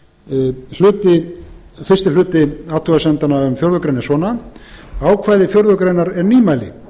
fyrsti hluti athugasemdanna um fjórða grein er svona ákvæði fjórðu grein er nýmæli